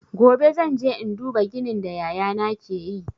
Gobe zan je in duba ginin da yaya na ke yi.